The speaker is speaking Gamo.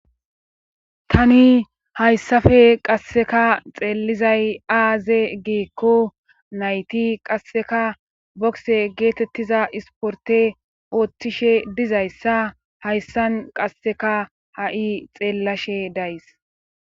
tani hayssafe qasseka xeelizay aaze geekko nayti qasseka bokse geetettiza isporte oottishe dizayssa hayssan qasseka ha7i xeellashe days